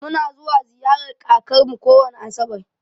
Mu na zuwa ziƴarar ƙakar mu kowani asabar.